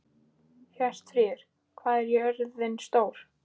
Hjörtfríður, hvað er jörðin stór?